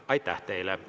Aitäh teile!